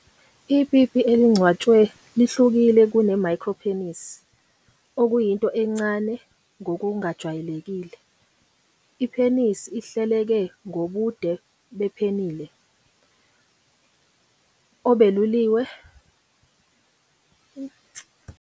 Ipipi elingcwatshwe lihlukile kune-micropenis, okuyinto encane ngokungajwayelekile, i-penis ehleleke ngobude be-penile obeluliwe obungaphansi kokuphambuka okujwayelekile okungu-2.5 ngaphansi kwencazelo yobudala noma isigaba sokukhula kocansi kwesiguli.